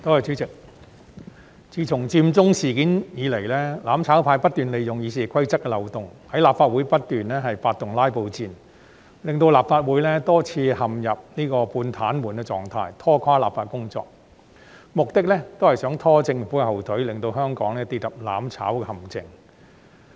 主席，自從佔中事件以來，"攬炒派"不斷利用《議事規則》的漏洞，在立法會發動"拉布戰"，令立法會多次陷入半癱瘓的狀態，拖垮立法的工作，目的是想"拖政府後腿"，令香港跌入"攬炒"的陷阱。